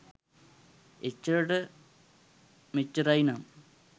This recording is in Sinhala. එච්චරට මෙච්චරයි නම්